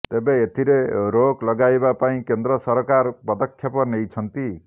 ତେବେ ଏଥିରେ ରୋକ ଲଗାଇବା ପାଇଁ କେନ୍ଦ୍ର ସରକାର ପଦକ୍ଷେପ ନେଇଛନ୍ତି